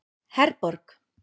Herborg